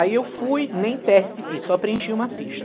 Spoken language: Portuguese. Aí eu fui, nem teste fiz, só preenchi uma ficha.